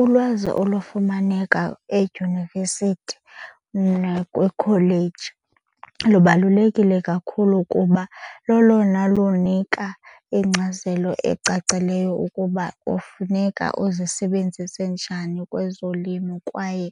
Ulwazi olufumaneka edyunivesithi nakwikholeji lubalulekile kakhulu kuba lolona lunika ingcazelo ecacileyo ukuba kufuneka uzisebenzise njani kwezolimo kwaye